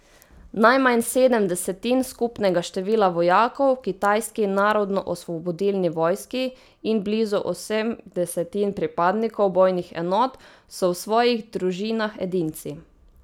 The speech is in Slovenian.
Najmanj sedem desetin skupnega števila vojakov v kitajski Narodnoosvobodilni vojski in blizu osem desetin pripadnikov bojnih enot so v svojih družinah edinci.